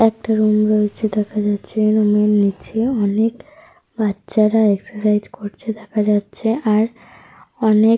একটা রুম রয়েছে দেখা যাচ্ছে। রুম -এর নিচে অনেক বাচ্চারা এক্সাসাইজ করেছে দেখা যাচ্ছে আর অনেক --